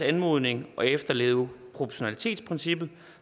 anmodning og efterleve proportionalitetsprincippet